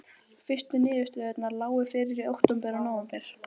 Ína yrði ekki lengi að leiðrétta slíka ónákvæmni.